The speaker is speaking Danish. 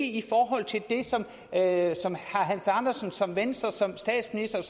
i forhold til det som herre hans andersen og som venstre og som statsministeren